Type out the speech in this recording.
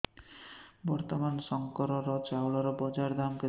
ବର୍ତ୍ତମାନ ଶଙ୍କର ଚାଉଳର ବଜାର ଦାମ୍ କେତେ